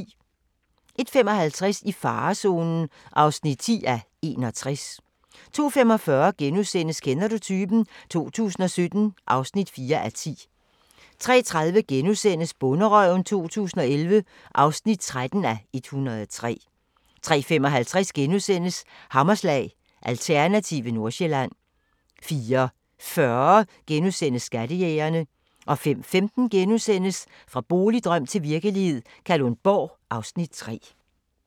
01:55: I farezonen (10:61) 02:45: Kender du typen? 2017 (4:10)* 03:30: Bonderøven 2011 (13:103)* 03:55: Hammerslag – Alternative Nordsjælland * 04:40: Skattejægerne * 05:15: Fra boligdrøm til virkelighed – Kalundborg (Afs. 3)*